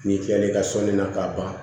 N'i kilal'i ka sɔnni na ka ban